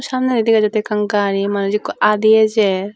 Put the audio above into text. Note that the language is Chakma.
samnedi degajattey ekan gari manus ekko aadi ejer.